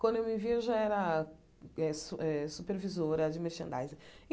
Quando eu me vi, eu já era eh su eh supervisora de merchandising e.